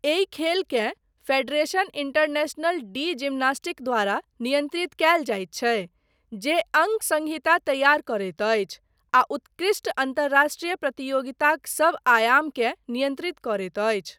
एहि खेलकेँ Federation Internationale de Gymnastique द्वारा नियन्त्रित कयल जाइत छै जे अङ्क संहिता तैयार करैत अछि आ उत्कृष्ट अन्तर्राष्ट्रीय प्रतियोगिताक सब आयामकेँ नियन्त्रित करैत अछि।